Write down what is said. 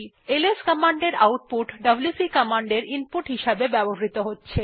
LS কমান্ডের output WC কমান্ডের input হিসেবে ব্যবহৃত হয়